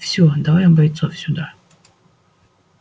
всё давай бойцов сюда